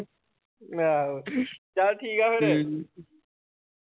ਆਹੋ ਚੱਲ ਠੀਕਾ ਫਿਰ ।